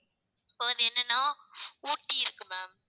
இப்ப வந்து என்னனா ஊட்டி இருக்கு ma'am